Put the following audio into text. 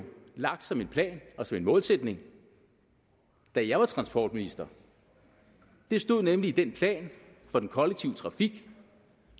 lagt som en plan og som en målsætning da jeg var transportminister det stod nemlig i den plan for den kollektive trafik